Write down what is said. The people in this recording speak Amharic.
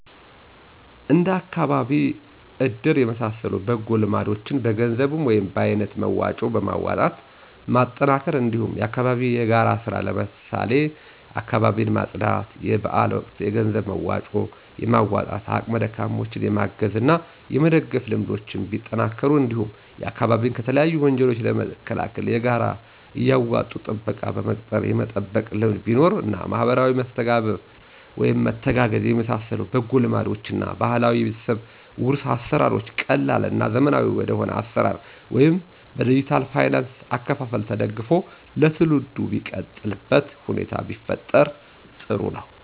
እንደ አካባቢ እድር የመሳሰሉ በጎ ልማዶችን በገንዘብ ወይም በአይነት መዋጮ በማዋጣት ማጠናከር እንዲሁም የአካባቢ የጋራ ስራ ለምሳሌ አካባቢን ማፅዳት; የበአል ወቅት የገንዘብ መዋጮ በማዋጣት አቅመ ደካማዎችን የማገዝ እና የመደገፍ ልምዶች ቢጠናከሩ እንዲሁም አካባቢን ከተለያዩ ወንጀሎች ለመከላከል በጋራ እያዋጡ ጥበቃ በመቅጠር የመጠበቅ ልምድ ቢኖር እና ማህበራዊ መተጋገዝ የመሳሰሉ በጎ ልማዶችን እና ባህላዊ የቤተሰብ ዉርስ አሰራሮች ቀላል እና ዘመናዊ ወደሆነ አሰራር ወይም በዲጅታል ፋይናንስ አከፋፈል ተደግፎ ለትውልዱ ሚቀጥልበት ሁኔታ ቢፈጠር ጥሩ ነው።